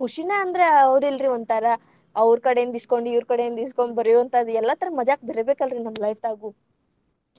ಖುಷಿನ ಅಂದ್ರ ಹೌದಿಲ್ರೀ ಒಂಥರಾ, ಅವ್ರ ಕಡೆಯಿಂದ್ ಇಸ್ಗೊಂಡ್‌ ಇವ್ರ ಕಡೆಯಿಂದ್ ಇಸ್ಗೊಂಡ್‌ ಬರೆಯುವಂಥಾದ ಎಲ್ಲಾ ಥರಾ ಮಜಾಕ ಬರ್ಬೇಕಲ್ಲರೀ ನಮ್ಮ life ದಾಗು